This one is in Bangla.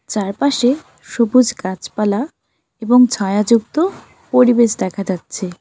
চারপাশে সবুজ গাছপালা এবং ছায়াযুক্ত পরিবেশ দেখা যাচ্ছে।